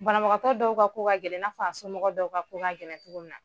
Banabagatɔ dɔw ka ko ka gɛlɛn i n'a fɔ a somɔgɔ dɔw ka ko ka gɛlɛn togo min na.